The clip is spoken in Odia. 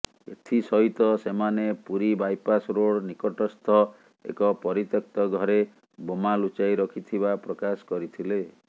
ଏଥିସହିତ ସେମାନେ ପୁରୀ ବାଇପାସ୍ ରୋଡ଼ ନିକଟସ୍ଥ ଏକ ପରିତ୍ୟକ୍ତ ଘରେ ବୋମା ଲୁଚାଇ ରଖିଥିବା ପ୍ରକାଶ କରିଥିଲେ